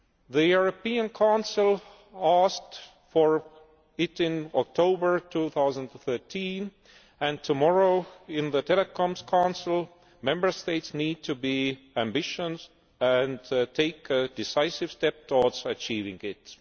The European Council asked for it in October 2013, and tomorrow in the Telecoms Council, Member States need to be ambitious and take a decisive step towards achieving it.